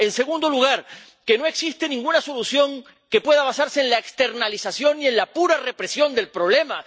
En segundo lugar, que no existe ninguna solución que pueda basarse en la externalización y en la pura represión del problema